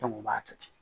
u b'a kɛ ten